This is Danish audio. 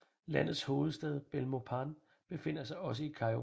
Landets hovedstad Belmopan befinder sig også i Cayo